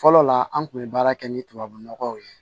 Fɔlɔ la an kun bɛ baara kɛ ni tubabu nɔgɔw ye